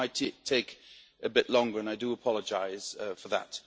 So might it take a bit longer, and I do apologise for that.